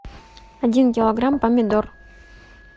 один килограмм помидор